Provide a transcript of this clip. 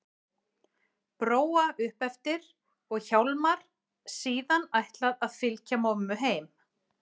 Bróa upp eftir og Hjálmar síðan ætlað að fylgja mömmu heim.